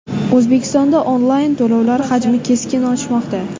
O‘zbekistonda onlayn to‘lovlar hajmi keskin oshmoqda.